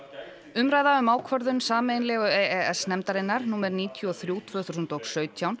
umræða um ákvörðun sameiginlegu e e s nefndarinnar númer níutíu og þrjú tvö þúsund og sautján